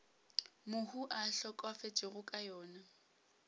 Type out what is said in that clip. mohu a hlokafetšego ka yona